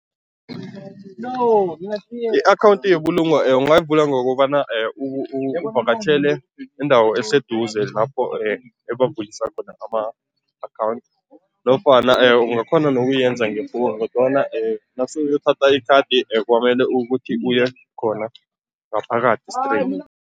I-akhawundi yebulungo ungayivula ngokobana uvakatjhele indawo eseduze lapho ebavulisa khona ama-account nofana ungakghona nokuyenza nge-phone kodwana nase uyothatha ikhadi kwamele ukuthi uye khona, ngaphakathi straight.